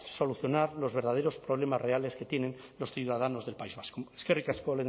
solucionar los verdaderos problemas reales que tienen los ciudadanos del país vasco eskerrik asko